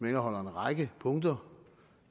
indeholder en række punkter